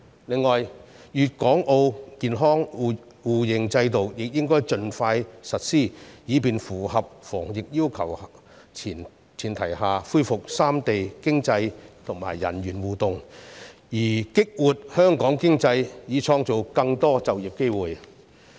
此外，粵港澳健康碼互認制度亦應盡快實施，以便在符合防疫要求的前提下，恢復三地經濟及人員互動，從而激活香港經濟，創造更多就業機會。